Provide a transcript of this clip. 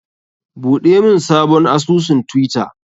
Buɗe mun sabon asusun twitter!